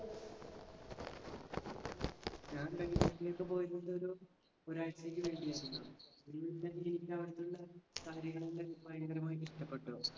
ഞാൻ ബാംഗ്ലൂരിലേക്ക് പോയിരുന്നതൊരു ഒരാഴ്ചക്ക് വേണ്ടിയായിരുന്നു. കാര്യങ്ങളെലാം എനിക്ക് ഭയങ്കരമായിട്ട് ഇഷ്ടപ്പെട്ടു.